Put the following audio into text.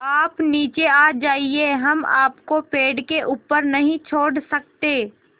आप नीचे आ जाइये हम आपको पेड़ के ऊपर नहीं छोड़ सकते